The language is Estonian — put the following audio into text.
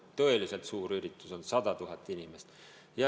Tõeliselt suur üritus on 100 000 inimest.